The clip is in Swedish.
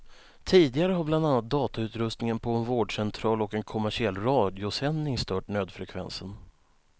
Tidigare har bland annat datautrustningen på en vårdcentral och en kommersiell radiosändning stört nödfrekvensen.